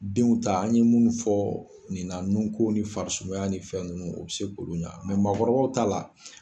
Denw ta an ye munnu fɔ ni na nun ko ni fari sumaya ni fɛn nunnu o bɛ se k'olu ɲɛ maakɔrɔbaw ta la.